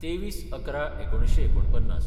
२३/११/१९४९